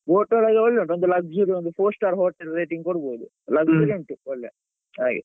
Boat ಒಳಗೆ ಒಳ್ಳೆ ಉಂಟು ಒಂದು luxury ಒಂದು four star hotel rating ಕೊಡ್ಬೋದು luxury . ಉಂಟು ಹಾಗೆ.